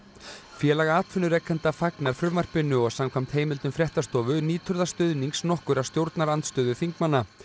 félag atvinnurekenda fagnar frumvarpinu og samkvæmt heimildum fréttastofu nýtur það stuðnings nokkurra stjórnarandstöðuþingmanna